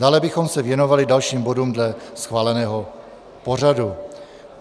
Dále bychom se věnovali dalším bodům dle schváleného pořadu.